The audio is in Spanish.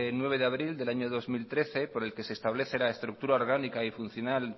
nueve de abril del año dos mil trece por el que se establece la estructura orgánica y funcional